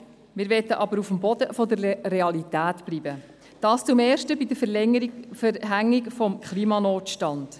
Wir möchten auf dem Boden der Realität bleiben, dies erstens bei der Verhängung des Klimanotstands.